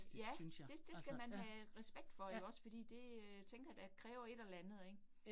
Ja. Det det skal man have respekt for ikke også fordi det øh tænker jeg da kræver et eller andet ik